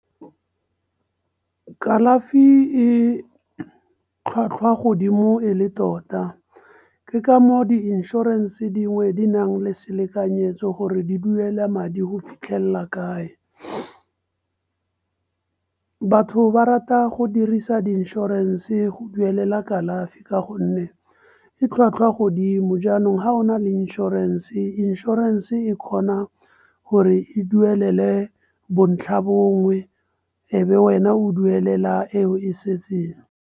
Kalafi e tlhwatlhwa godimo e le tota, ke ka moo di inšorense dingwe di nang le selekanyetso gore di duela madi go fitlhelela kae. Batho ba rata go dirisa di inšorense go duelela kalafi, ka gonne e tlhwatlhwa godimo. Jaanong ha o na le inšorense, inšorense e kgona gore e duelele bontlhabongwe e be wena o duelela eo e setseng.